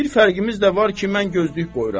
Bir fərqimiz də var ki, mən gözlük qoyuram.